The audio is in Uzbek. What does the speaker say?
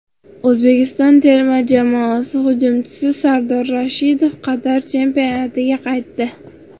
O‘zbekiston terma jamoasi hujumchisi Sardor Rashidov Qatar chempionatiga qaytdi.